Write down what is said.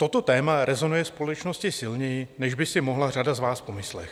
Toto téma rezonuje společností silněji, než by si mohla řada z vás pomyslet.